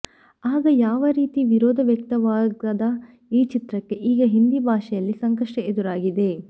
ಆಗ ಯಾವ ರೀತಿ ವಿರೋಧ ವ್ಯಕ್ತವಾಗದ ಈ ಚಿತ್ರಕ್ಕೆ ಈಗ ಹಿಂದಿ ಭಾಷೆಯಲ್ಲಿ ಸಂಕಷ್ಟ ಎದುರಾಗಿದೆ